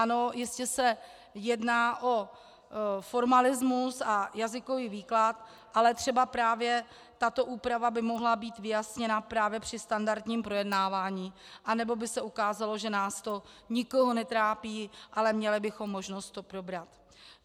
Ano, jistě se jedná o formalismus a jazykový výklad, ale třeba právě tato úprava by mohla být vyjasněna právě při standardním projednávání, anebo by se ukázalo, že nás to nikoho netrápí, ale měli bychom možnost to probrat.